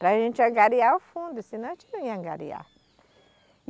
Para gente angariar o fundo, senão a gente não ia angariar.